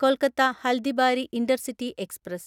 Kolkata Haldibari intercity express